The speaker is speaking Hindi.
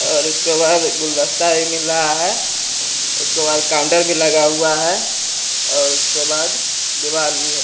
और उसके बाद गुलदस्ता भी मिल रहा है उसके बाद काउंटर भी लगा हुआ है और उसके बाद दीवाल भी है।